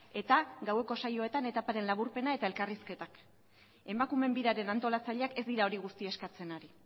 eta gaueko saioetan etaparen laburpena eta elkarrizketak emakumeen biraren antolatzaileak ez dira hori guztia eskatzen ari